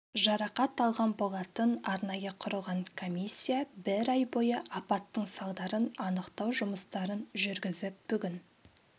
жарақат алған болатын арнайы құрылған комиссия бір ай бойы апаттың салдарын анықтау жұмыстарын жүргізіп бүгін